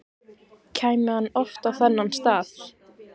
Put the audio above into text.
Kæmi hann oft á þennan stað?